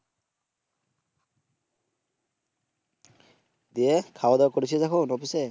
দিয়ে খাওয়া দাওয়া করেছিস এখন অফিস এ?